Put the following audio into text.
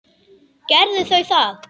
Gerðu þau það.